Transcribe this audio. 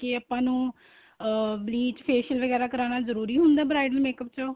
ਕੇ ਆਪਾਂ ਨੂੰ ਅਹ bleach facial ਵਗੇਰਾ ਕਰਾਣਾ ਜਰੂਰੀ ਹੁੰਦਾ ਏ bridal makeup ਚੋ